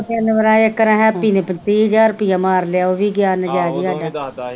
ਦੋ ਤਿੰਨ ਵਰਾ ਇੱਕ ਵਰਾ ਹੈਪੀ ਨੇ ਤੀਹ ਹਜ਼ਾਰ ਰੁਪਈਆ ਮਾਰ ਲਿਆ ਓਵੀ ਗਿਆ ਨਜੇਜ ਈ ਈ ਹਾਡਾ